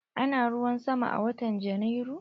Ana ruwan sama a watan Janairu?